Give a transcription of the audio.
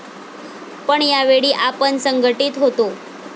पण यावेळी आपण संघटीत होतो.